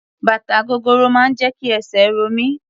Bàtà gogoro máa ń jẹ́ kí esè ro mí.